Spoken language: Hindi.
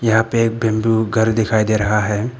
यहां पे एक बैंबू घर दिखाई दे रहा है।